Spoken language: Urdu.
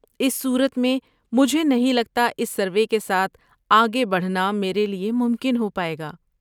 اس صورت میں، مجھے نہیں لگتا اس سروے کے ساتھ آگے بڑھنا میرے لیے ممکن ہو پائے گا۔